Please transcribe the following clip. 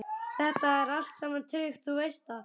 Þetta er allt saman tryggt, þú veist það.